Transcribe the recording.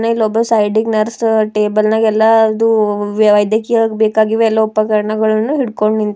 ಇಲ್ಲೊಬ್ಬ ಸೈಡಿ ಗೆ ನರ್ಸ್ ಟೇಬಲ್ ನಾಗ್ ಎಲ್ಲಾದು ವೈದ್ಯಕೀಯ ಬೇಕಾಗಿರುವ ಎಲ್ಲಾ ಉಪಕರಣಗಳನ್ನು ಹಿಡಕೊಂಡ್ ನಿಂತಾನ ಲೈಕ್ --